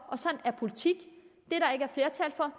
og sådan er politik